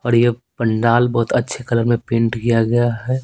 और ये पंडाल बहुत अच्छे कलर में पेंट किया गया है।